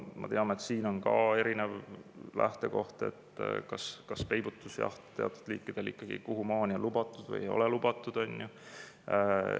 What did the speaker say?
Me teame, et siin on ka erinevaid seisukohi, kas peibutusjaht teatud liikide puhul on ikka lubatud või ei ole lubatud, kuhumaani on lubatud.